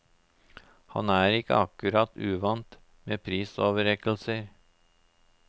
Han er ikke akkurat uvant med prisoverrekkelser.